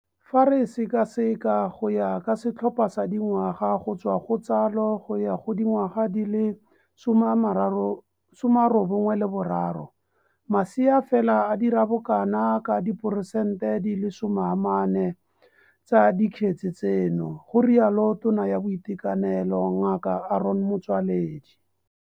"Fa re e sekaseka go ya ka setlhopha sa dingwaga go tswa go tsalo go ya go dingwaga di le 93, masea fela a dira bokana ka diporosente di le 40 tsa di kgetse tseno," go rialo Tona ya Boitekanelo Ngaka Aaron Motsoaledi.